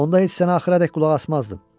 Onda heç sənə axıradək qulaq asmazdım.